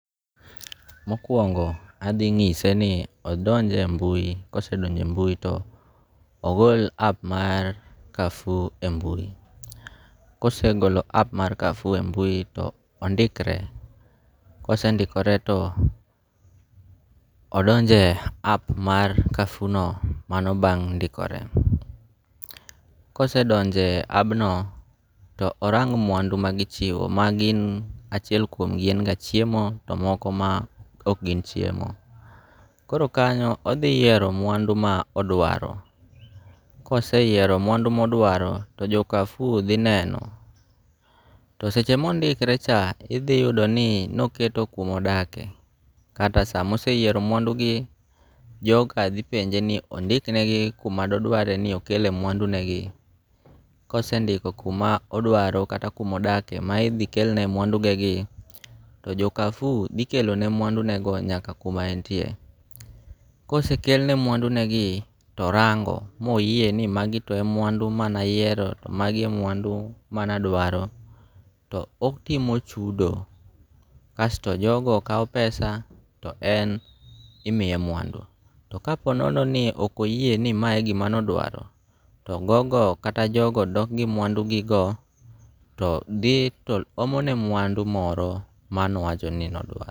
Mokuongo' athi nyise ni odonj e mbui, kosendoje e mbui to ogol app mar Carrefour e mbui, kosegolo app mar Carrefour mbui to ondikre, kosendikore to ondonje e app mar Carrefour no mano bang' ndikore, kosendoje e abbno to orang' mwandu magichiwo magi gin achiel kuomgi en ga chiemo to moko ma ok gin chiemo, koro kanyo othi yiero mwandu ma odwaro, koseyiero mwandu ma odwaro to Carrefour go thi neno to seche mondikre cha to ithiyudo ni noketo kuma odakie kata sama oseyiero mwandugi joka thi penje ni ondiknegi kuma dodware ni okele mwadunegi kosendiko kuma odwaro kata kuma odakie ma othikelne mwandunegi to jo Carrefour thikelone mwandunego nyaka kuma en tie, kose kelne mwandunegi to orango' moyie ni magi to emana yiero to magi e mwandu manadwaro to opimo chudo kasto jogie kawo pesa to en imiye mwandu to ka po nono ni okoyie ni mae e gima ne odwaro to gogo kata jogo dok gi mwandugigo to thi to omone mwandu moro manowachoni nodwaro.